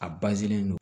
A don